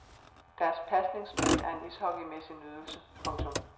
Deres pasningsspil er en ishockeymæssig nydelse. punktum